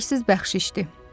Dəyərsiz bəxşişdir.